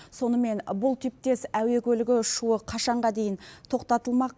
сонымен бұл типтес әуе көлігі ұшуы қашанға дейін тоқтатылмақ